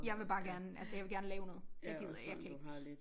Jeg vil bare gerne altså jeg vil gerne lave noget jeg gider jeg kan ikke